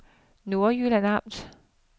Nordjyllands Amt